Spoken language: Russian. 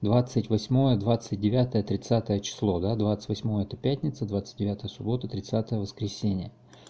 двадцать восьмое двадцать девятое тридцатое число да двадцать восьмое это пятница двадцать девятое суббота тридцатое воскресенье